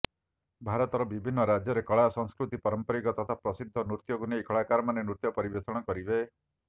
ଭାରତର ବିଭିନ୍ନ ରାଜ୍ୟର କଳା ସଂସ୍କୃତି ପାରମ୍ପରିକ ତଥା ପ୍ରସିଦ୍ଧ ନୃତ୍ୟକୁ ନେଇ କଳାକାରମାନେ ନୃତ୍ୟ ପରିବେଷଣ କରିବେ